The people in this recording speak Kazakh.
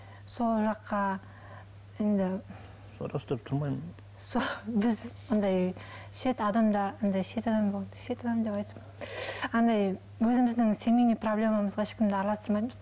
сол жаққа енді біз андай шет адамдар андай өзіміздің семейный проблемамызға ешкімді араластырмайтынбыз